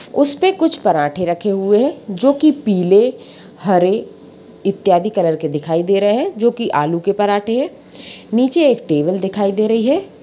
उस पे कुछ पराठे रखे हुए हैं जो कि पीले हरे इत्यादि कलर के दिखाई दे रहे हैं जो कि आलू के पराठे हैं नीचे एक टेबल दिखाई दे रही है।